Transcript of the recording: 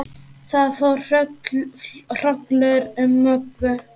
Það fór hrollur um Möggu.